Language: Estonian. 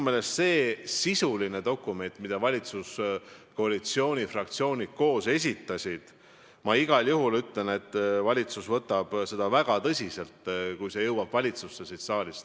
See on sisuline dokument, mille valitsuskoalitsiooni fraktsioonid koos esitasid, ja ma igal juhul ütlen, et valitsus võtab seda väga tõsiselt, kui see jõuab valitsusse siit saalist.